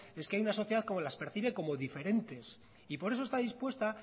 es que hay una sociedad que las percibe como diferentes y por eso está dispuesta